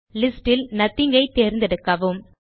list இல் nothing ஐ தேர்ந்தெடுக்கவும்